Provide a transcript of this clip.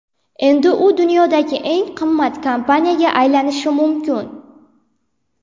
Endi u dunyodagi eng qimmat kompaniyaga aylanishi mumkin.